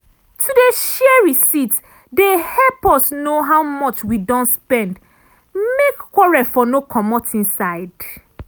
to dey share receipt dey help us know how much wi don spend make quarrel for no comot inside.